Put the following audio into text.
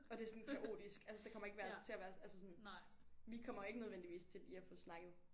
Og det sådan kaotisk altså der kommer ikke være til at være altså sådan vi kommer ikke nødvendigvis til lige at få snakket